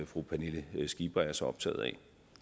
fru pernille skipper er så optaget af